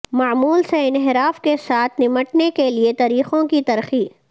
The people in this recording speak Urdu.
معمول سے انحراف کے ساتھ نمٹنے کے لئے طریقوں کی ترقی